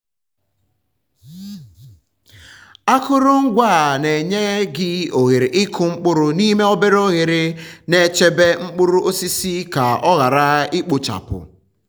akụrụngwa a na-enye gị ohere ịkụ um mkpụrụ n'ime obere oghere na-echebe mkpụrụ osisi ka ọ um ghara um ikpochapụ.